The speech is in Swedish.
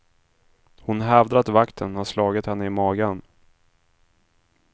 Hon hävdar att vakten har slagit henne i magen.